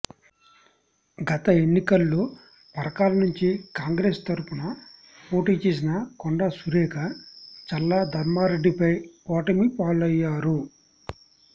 గత ఎన్నికల్లో పరకాల నుంచి కాంగ్రెసు తరఫున పోటీ చేసిన కొండా సురేఖ చల్లా ధర్మారెడ్డిపై ఓటమి పాలయ్యారు